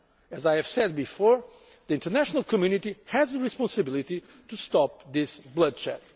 As I have said before, the international community has a responsibility to stop the bloodshed.